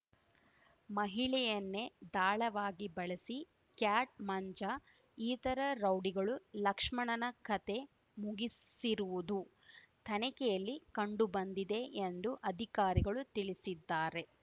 ಮಹಿಳೆಯನ್ನೇ ದಾಳವಾಗಿ ಬಳಸಿ ಕ್ಯಾಟ್ ಮಂಜ ಇತರ ರೌಡಿಗಳು ಲಕ್ಷ್ಮಣನ ಕಥೆ ಮುಗಿಸಿರುವುದು ತನಿಖೆಯಲ್ಲಿ ಕಂಡುಬಂದಿದೆ ಎಂದು ಅಧಿಕಾರಿಗಳು ತಿಳಿಸಿದ್ದಾರೆ